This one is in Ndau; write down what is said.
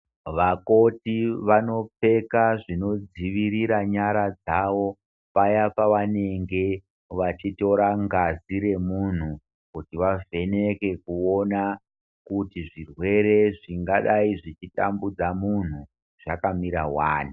Vakoti vanopfeka zvinodzivirira nyara dzao paya pavanenge vachitora ngazi remunthu kuti vavheneke kuona kuti zvirwere zvingadai zvichitambudza munhu kuti zvakamira wani.